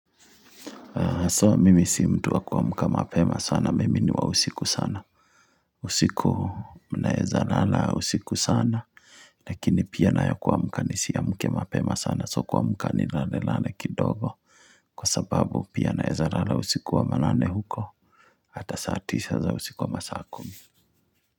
So, mimi si mtu wa kuamka mapema sana, mimi ni wa usiku sana. Usiku naeza lala usiku sana, lakini pia nayo kuamka nisi amke mapema sana, so kuamka ni lalelale kidogo. Kwa sababu, pia naeza lala usiku wa manane huko, ata saa tisa za usiku ama saa kumi.